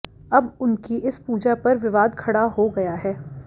अब उनकी इस पूजा पर विवाद खड़ा हो गया है